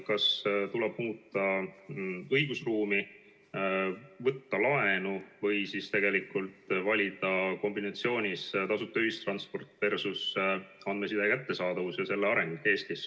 Kas tuleb muuta õigusruumi, võtta laenu või siis tegelikult valida kombinatsioonis tasuta ühistransport versus andmeside kättesaadavus ja selle areng Eestis?